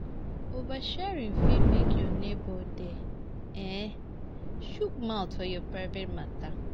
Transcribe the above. Oversharing fit make your neighbour dey um chook mouth for your private matter